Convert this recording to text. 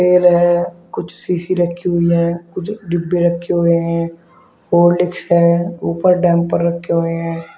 तेल कुछ सीसी रखी हुई है कुछ डिब्बे रखे हुए हैं हॉर्लिक्स हैं। ऊपर डैंपर रखे हुए हैं।